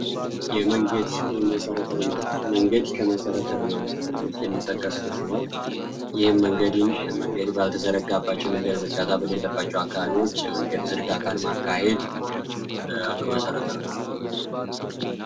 የመንገድ የመሰረተ ልማት መንገድ ከመሰረተ ልማት ውስጥ የሚጠቀስ ሲሆን፤ ይህም መንገድን መንገድ ባልደረባቸው መንገድ ዝርጋታ በሌለባቸው አካባቢዎች መንገድ ዝርጋታን ማካሄድ አንዱ መሠረተ ልማት ነው።